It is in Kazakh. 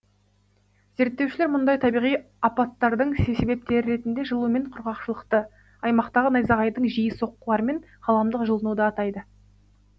зерттеушілер мұндай табиғи апаттардың себептері ретінде жылу мен құрғақшылықты аймақтағы найзағайдың жиі соққылары мен ғаламдық жылынуды атайды